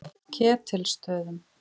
Ketilsstöðum